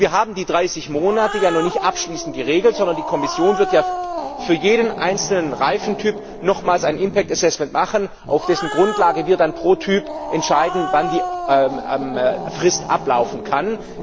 Wir haben die 30 Monate ja noch nicht abschließend geregelt, sondern die Kommission wird für jeden einzelnen Reifentyp nochmals ein impact assessment machen, auf dessen Grundlage wird dann pro Typ entschieden, wann die Frist ablaufen kann.